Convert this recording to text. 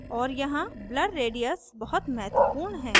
और यहाँ blur radius बहुत महत्वपूर्ण है